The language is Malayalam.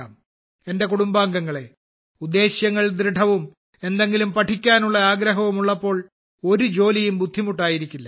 എന്റെ കുടുംബാംഗങ്ങളേ ഉദ്ദേശ്യങ്ങൾ ദൃഢവും എന്തെങ്കിലും പഠിക്കാനുള്ള ആഗ്രഹവും ഉള്ളപ്പോൾ ഒരു ജോലിയും ബുദ്ധിമുട്ടായിരിക്കില്ല